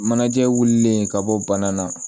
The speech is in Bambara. Manajɛ wulilen ka bɔ bana na